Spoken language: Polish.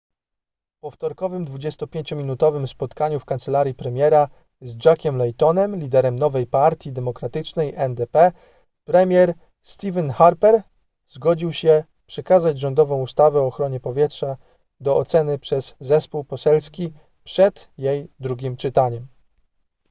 po wtorkowym 25-minutowym spotkaniu w kancelarii premiera z jackiem laytonem liderem nowej partii demokratycznej ndp premier stephen harper zgodził się przekazać rządową ustawę o ochronie powietrza do oceny przez zespół poselski przed jej drugim czytaniem